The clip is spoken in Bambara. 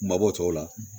Mabɔ tɔw la